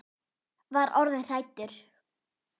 Var orðin hrædd!